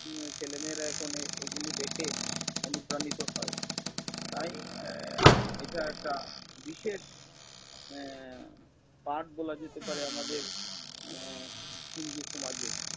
উম ছেলেমেয়েরা এখন এগুলি দেখে অনুপ্রাণিত হয়। তাই আহ এটা একটা বিশেষ আহ পাঠ বলা যেতে পারে আমাদের আহ হিন্দু সমাজে।